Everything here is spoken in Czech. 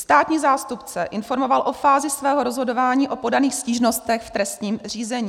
Státní zástupce informoval o fázi svého rozhodování o podaných stížnostech v trestním řízení.